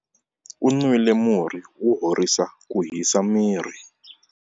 U nwile murhi wo horisa ku hisa miri.